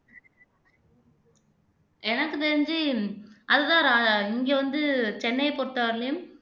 எனக்கு தெரிஞ்சி அது தான் இங்க வந்து சென்னையை பொறுத்த வரையிலும்